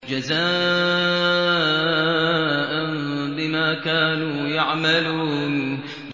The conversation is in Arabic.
جَزَاءً بِمَا كَانُوا يَعْمَلُونَ